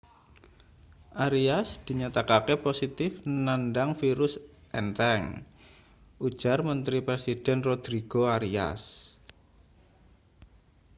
arias dinyatakake positif nandang virus entheng ujar menteri presiden rodrigo arias